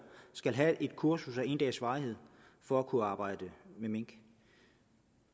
skal have et kursus af en dags varighed for at kunne arbejde med mink